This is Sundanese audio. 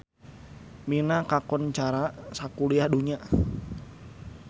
Mina kakoncara sakuliah dunya